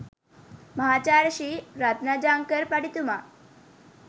මහාචාර්ය ශ්‍රී රත්නජංකර් පඬිතුමා